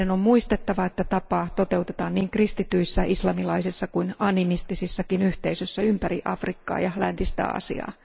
Meidän on muistettava, että tapaa toteutetaan niin kristityissä, islamilaisissa kuin animistisissakin yhteisöissä ympäri Afrikkaa ja läntistä Aasiaa.